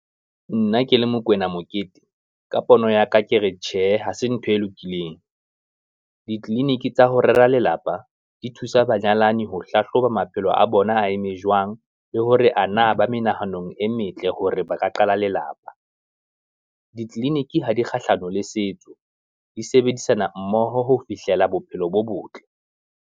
Nna ke le Mokoena Mokete ka pono ya ka akere tjhe hase ntho e lokileng, ditleliniki tsa ho rera lelapa di thusa banyalani ho hlahloba maphelo a bona a eme jwang, le hore ana ba menahano e metle hore ba ka qala lelapa. Ditleliniki ha di kgahlano le setso, di sebedisana mmoho ho fihlela bophelo bo botle.